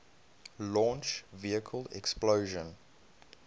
launch vehicle explosion